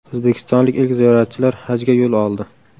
O‘zbekistonlik ilk ziyoratchilar hajga yo‘l oldi.